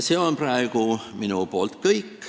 See on praegu minu poolt kõik.